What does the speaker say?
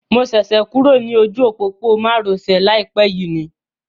Mo ṣẹ̀ṣẹ̀ kúrò ní ojú òpópónà má ro sè láìpé yìí ni